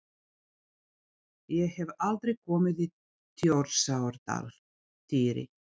Ég hef aldrei komið í Þjórsárdal, Týri.